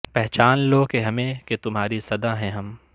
پہچان لو کہ ہمیں کہ تمہاری صدا ہیں ہم